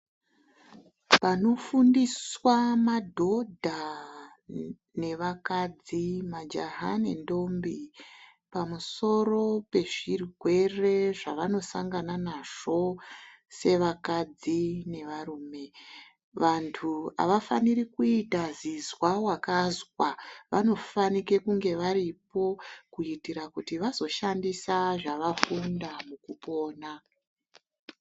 Panofundiswa madhodha nevakadzi ,majaha nendombi pamusoro pezvirwere zvavanosangana nazvo sevakadzi nevarume vantu avafaniri kuite zizwa-wakazwa vanofanike kunge varipo kuitire kuti vazoshandise zvavafunda mukupona.